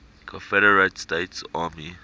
confederate states army